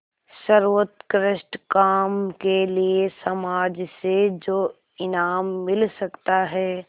सर्वोत्कृष्ट काम के लिए समाज से जो इनाम मिल सकता है